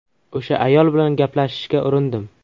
O‘sha ayol bilan gaplashishga urindim.